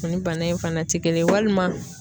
Ani bana in fana te kelen ye, walima